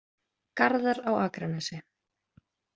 Garðar á Akranesi.